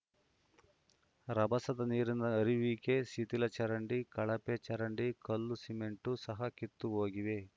ರಭಸದ ನೀರಿನ ಹರಿವಿಗೆ ಶಿಥಿಲ ಚರಂಡಿ ಕಳಪೆ ಚರಂಡಿ ಕಲ್ಲು ಸಿಮೆಂಟ್‌ ಸಹ ಕಿತ್ತು ಹೋಗಿವೆ